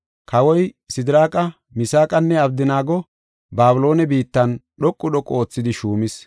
Kawoy Sidiraaqa, Misaaqanne Abdanaago Babiloone biittan dhoqu dhoqu oothidi shuumis.